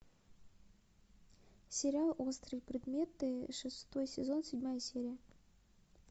сериал острые предметы шестой сезон седьмая серия